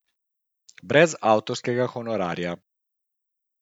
Brez avtorskega honorarja.